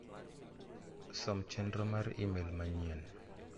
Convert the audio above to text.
Som chenro mar imel manyien.